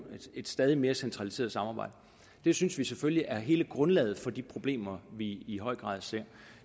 et stadig mere centraliseret samarbejde det synes vi selvfølgelig er hele grundlaget for de problemer vi i høj grad ser